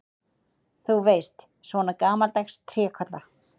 Þú veist, svona gamaldags trékolla.